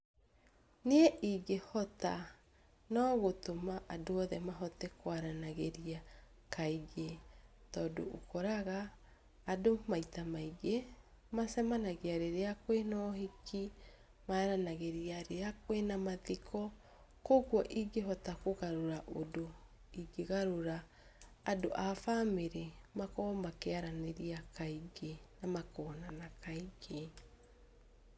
Niĩ ingĩhota nogũtũma andũ othe mahote kwaranagĩria kaingĩ. Tondũ ũkoraga andũ maita maingĩ macamanagia rĩrĩa kwĩ na ũhiki, maranagĩria rĩrĩa kwĩ na mathiko. Koguo ingĩhota kũgarũra ũndũ, ingĩgarũra andũ abamĩrĩ makahota kwaranĩria kaingĩ na makonana kaingĩ.